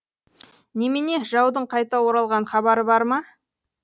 немене жаудың қайта оралған хабары бар ма